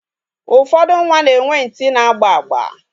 Ụfọdụ nwa na-enwe ntị na-agba agba.